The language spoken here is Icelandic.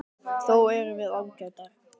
Þó erum við ágætar.